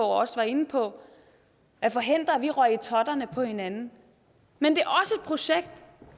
også var inde på at forhindre at vi røg i totterne på hinanden men det